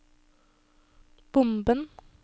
bomben